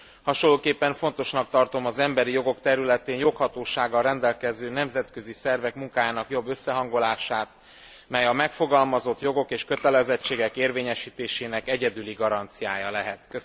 Hasonlóképpen fontosnak tartom az emberi jogok területén joghatósággal rendelkező nemzetközi szervek munkájának jobb összehangolását, mely a megfogalmazott jogok és kötelezettségek érvényesítésének egyedüli garanciája lehet.